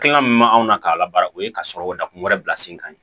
Hakilina min ma anw na k'a la baara o ye ka sɔrɔ dakun wɛrɛ bila sen kan